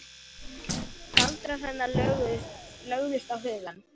Galdrar hennar lögðust á hugann.